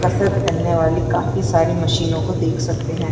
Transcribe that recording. कसरत करने वाली काफी सारी मशीनो को देख सकते है।